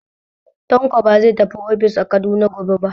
Tanko ba zai tafi ofis a Kaduna gobe ba.